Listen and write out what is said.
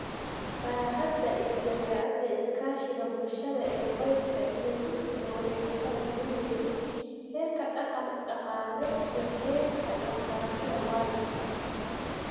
Baaxadda iyo dabeecadda iskaashiga bulshada ee qoyska iyo dugsiga waxay ku kala duwan yihiin heerka dhaqan-dhaqaale iyo heerka waxbarashada waalidka.